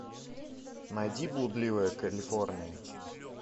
найди блудливая калифорния